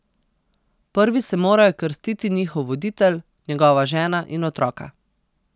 Prvi se morajo krstiti njihov voditelj, njegova žena in otroka.